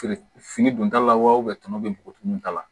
Feere fini dun ta la wa tɔnɔ be bɔgɔ tumu ta la